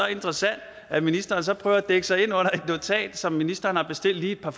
interessant at ministeren så prøver at dække sig ind under et notat som ministeren har bestilt lige et par